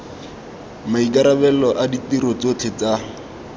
maikarabelo a ditiro tsotlhe tsa